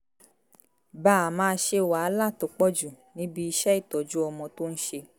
bàa máa ṣe wàhálà tó pọ̀jù níbi iṣẹ́ ìtọ́jú ọmọ tó ń ṣe